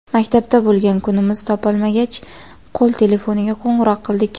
Maktabda bo‘lgan kunimiz topolmagach, qo‘l telefoniga qo‘ng‘iroq qildik.